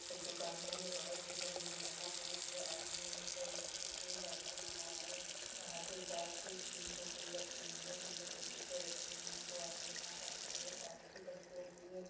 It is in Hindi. एक दुकान है जो बहुत ही बड़ी है यहाँ पे ला एक आदमी एक लड़के के दाढ़ी बना रहा है यहाँ पे जाल सी तीन टोकरी रखी हुई है जिनमे कुछ डिब्बे रखे हुए हैं दो आदमी अपना काम कर रहे हैं एक पानी की टंकी रखी है।